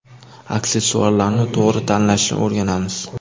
Aksessuarlarni to‘g‘ri tanlashni o‘rganamiz.